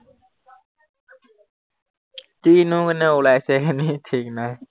মানে ওলাইছে নেকি ঠিক নাই